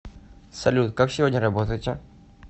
салют как сегодня работаете